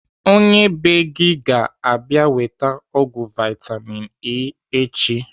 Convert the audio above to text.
Onye bee gị ga - abịa weta ọgwụ vitamin E echi.